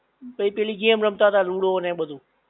તઈ પેલી ગેમ રમતા તા લૂડો ને બધું